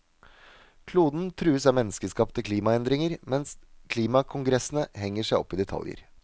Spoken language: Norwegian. Kloden trues av menneskeskapte klimaendringer, mens klimakongressene henger seg opp i detaljer.